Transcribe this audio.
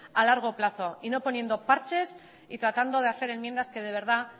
a largo plazo y no poniendo parches y tratando de hacer enmiendas que de verdad